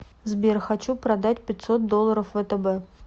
сбер хочу продать пятьсот долларов втб